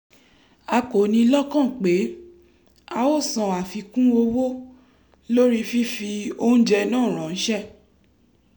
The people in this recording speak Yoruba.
a kò ni lọ́kàn pé a ó san àfikún owó lórí fífi oúnjẹ náà ránṣẹ́